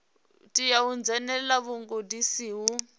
tea u dzhenelela vhugudisi ho